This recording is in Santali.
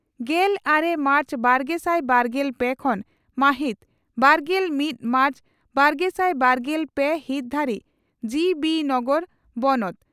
ᱜᱮᱞ ᱟᱨᱮ ᱢᱟᱨᱪ ᱵᱟᱨᱜᱮᱥᱟᱭ ᱵᱟᱨᱜᱮᱞ ᱯᱮ ᱠᱷᱚᱱ ᱢᱟᱦᱤᱛ ᱵᱟᱨᱜᱮᱞ ᱢᱤᱛ ᱢᱟᱨᱪ ᱵᱟᱨᱜᱮᱥᱟᱭ ᱵᱟᱨᱜᱮᱞ ᱯᱮ ᱦᱤᱛ ᱫᱷᱟᱹᱨᱤᱡ ᱡᱤᱹᱵᱤᱹ ᱱᱚᱜᱚᱨ ᱵᱚᱱᱚᱛ